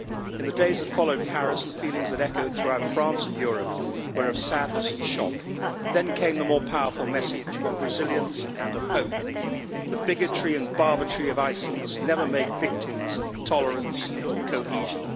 In the days that followed Paris, the feelings that echoed throughout France and Europe were of sadness and shock. But then came the more powerful message of resilience and of hope. The bigotry and barbarity of ISIL must never make victims of tolerance and cohesion.